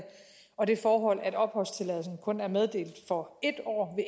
og det forhold at opholdstilladelsen kun er meddelt for